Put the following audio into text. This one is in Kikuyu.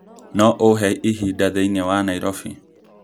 no ũhe ihinda thĩinĩ wa Nairobi?